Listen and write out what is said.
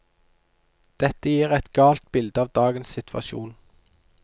Dette gir et galt bilde av dagens situasjon.